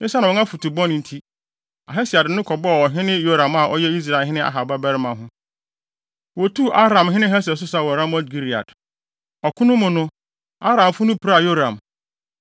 Esiane wɔn afotu bɔne nti, Ahasia de ne ho kɔbɔɔ ɔhene Yoram a ɔyɛ Israelhene Ahab babarima ho. Wotuu Aramhene Hasael so sa wɔ Ramot-Gilead. Ɔko no mu no, Aramfo no piraa Yoram.